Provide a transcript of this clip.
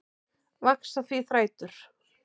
Vaxa því þrætur